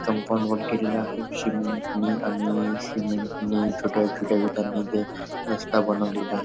Compound वर केलेला आहे सिमेंटनी आणि सिमेंटनी छोट्या छोट्या विटांनी ते रास्ता बनवलेला आहे.